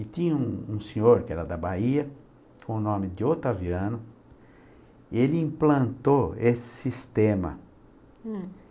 E tinha um um senhor que era da Bahia, com o nome de Otaviano, e ele implantou esse sistema hm